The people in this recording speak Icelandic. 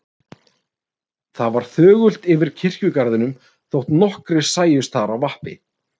Það var þögult yfir kirkjugarðinum þótt nokkrir sæjust þar á vappi.